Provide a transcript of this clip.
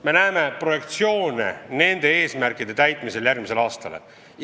Me näeme projektsioone nende eesmärkide täitmisest järgmisel aastal.